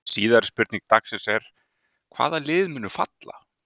Síðari spurning dagsins er: Hvaða lið munu falla?